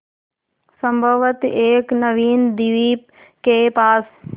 संभवत एक नवीन द्वीप के पास